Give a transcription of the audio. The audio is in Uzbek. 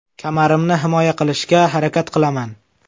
Kamarimni himoya qilishga harakat qilaman.